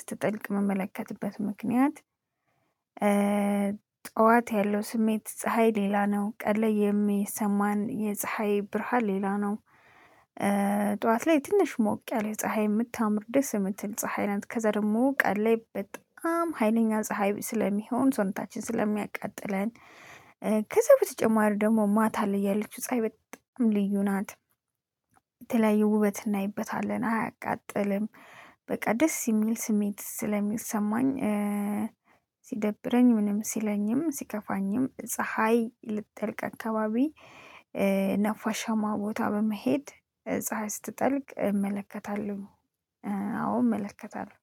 ስትጠልቅ ምመለከትበት ምክንያት። ጠዋት ያለው ስሜት ፀሀይ ሌላ ነው ቀን ላይ የሚሰማን የፀሀይ ብርሃን ሌላ ነው። ጠዋት ላይ ትንሽ ሞቅ ያለ ፀሀይ የምታምር ደስ የምትል ፀሀይ ከዛ ደግሞ ቀን ላይ በጣም ሀይለኛ ፀሀይ ስለሚሆን ሰውነታችን ስለሚያቃጥለን። ከዛ በተጨማሪ ደግሞ ማታ ላይ ያለችው ፀሀይ በጣም ልዩ ናት። የተለያየ ውበት እናይበታለን አያቃጥልም በቃ ደስ የሚል ስሜት ስለሚሰማኝ። ሲደብረኝ ምንም ሲለኝም ሲከፋኝም ፀሀይ ልትጠልቅ አካባቢ ነፋሻማ ቦታ በመሄድ ፀሀይ ስትጠልቅ እመለከታለሁ። አዎ እመለከታለሁ።